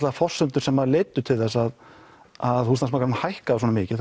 þær forsendur sem leiddu til þess að að húsnæðismarkaðurinn hækkaði svona mikið